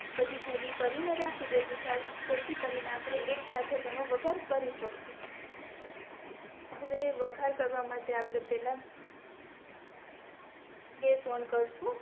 બધી ભેગી કરીને રાખી દેસું જેથી કરીને આપણે એક સાથે તેનો વગાહર કરી શાકશુ હવે વઘાર કરવા માટે આપણે પેહલા ગેસ ઑઁ કરશું